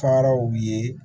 Faraw ye